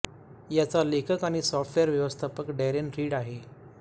याचा लेखक आणि सॉफ्टवेअर व्यवस्थापक डॅरेन रीड आहे